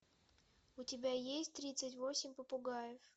у тебя есть тридцать восемь попугаев